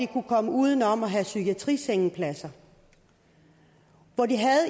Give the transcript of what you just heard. kunne komme uden om at have psykiatrisengepladser hvor de